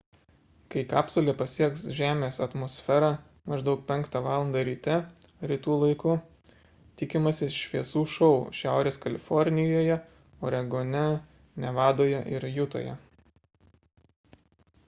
kai kapsulė pasieks žemės atmosferą maždaug 5 val. ryte rytų laiku tikimasi šviesų šou šiaurės kalifornijoje oregone nevadoje ir jutoje